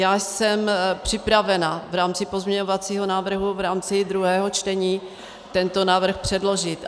Já jsem připravena v rámci pozměňovacího návrhu v rámci druhého čtení tento návrh předložit.